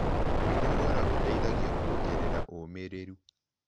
Kwĩnogora gũteĩthagĩa kũongerera ũmĩrĩrũ